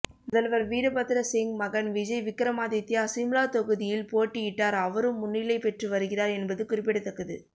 முதல்வர் வீரபத்ர சிங் மகன் விஜய் விக்ரமாதித்யா சிம்லா தொகுதியில் போட்யிட்டார் அவரும் முன்னிலை பெற்று வருகிறார் என்பது குறிப்பிடத்தக்கது